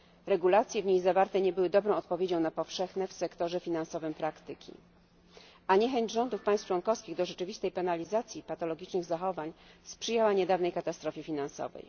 Regulacje w niej zawarte nie były dobrą odpowiedzią na powszechne w sektorze finansowym praktyki, a niechęć rządów państw członkowskich do rzeczywistej penalizacji patologicznych zachowań sprzyjała niedawnej katastrofie finansowej.